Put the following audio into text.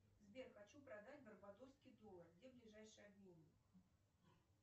сбер хочу продать барбадосский доллар где ближайший обменщик